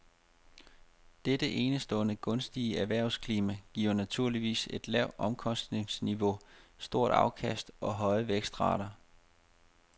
Dette enestående gunstige erhvervsklima giver naturligvis et lavt omkostningsniveau, store afkast og høje vækstrater.